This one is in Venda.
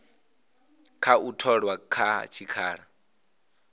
kha u tholwa kha tshikhala